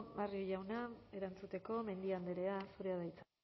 barrio jauna erantzuteko mendia andrea zurea da hitza